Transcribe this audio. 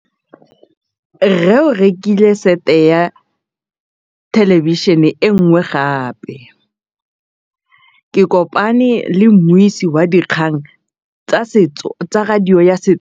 Rre o rekile sete ya thêlêbišênê e nngwe gape. Ke kopane mmuisi w dikgang tsa radio tsa Setswana.